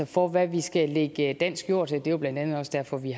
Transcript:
for hvad vi skal lægge dansk jord til det er jo blandt andet også derfor vi